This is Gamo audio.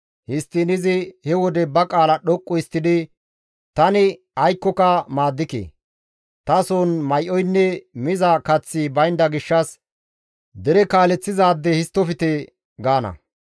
Histtiin izi he wode ba qaala dhoqqu histtidi, «Tani aykkoka maaddike; tason may7oynne miza kaththi baynda gishshas tana dere kaaleththizaade histtofte» gaana.